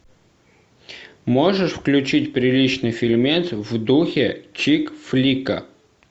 можешь включить приличный фильмец в духе чик флика